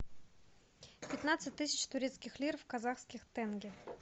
пятнадцать тысяч турецких лир в казахских тенге